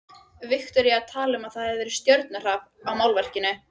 Viktoría talaði um að það hefði verið stjörnuhrap á málverkinu.